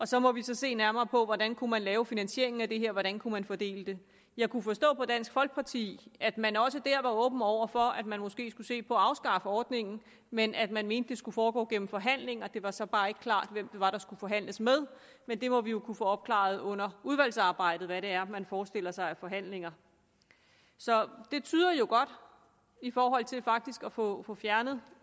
så må vi se nærmere på hvordan man kunne lave finansieringen af det her hvordan man kunne fordele det jeg kunne forstå på dansk folkeparti at man også der var åben over for at man måske skulle se på at afskaffe ordningen men at man mente det skulle foregå gennem forhandlinger det var så bare ikke klart hvem det var der skulle forhandles med men det må vi jo kunne få opklaret under udvalgsarbejdet hvad det er man forestiller sig af forhandlinger så det tyder jo godt i forhold til faktisk at få fjernet